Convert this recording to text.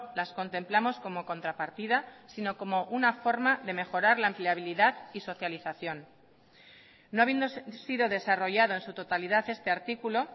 las contemplamos como contrapartida sino como una forma de mejorar la empleabilidad y socialización no habiendo sido desarrollado en su totalidad este artículo